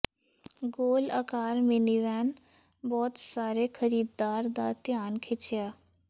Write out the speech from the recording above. ਗੋਲ ਆਕਾਰ ਮਿਨੀਵੈਨ ਬਹੁਤ ਸਾਰੇ ਖਰੀਦਦਾਰ ਦਾ ਧਿਆਨ ਖਿੱਚਿਆ